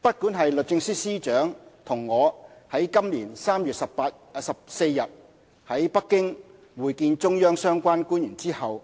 不管是律政司司長與我於今年3月14日在北京會見中央相關官員後，